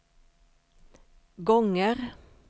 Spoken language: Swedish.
gånger